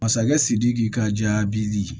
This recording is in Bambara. Masakɛ sidiki ka jaabi di